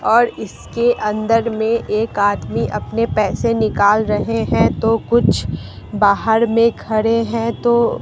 और इसके अंदर में एक आदमी अपने पैसे निकाल रहे हैं तो कुछ बाहर में खड़े हैं तो--